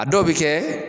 A dɔw bɛ kɛ